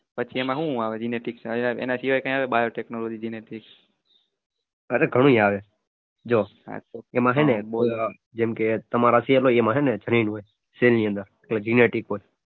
પછી એમાં હું આવે genetics માંં એના સિવાય કઈ બીજું આવે biotechnology genetics અરે ઘણું આવે જો એમાં છે ને જેમ કે તમારા શરીરમા cell હોય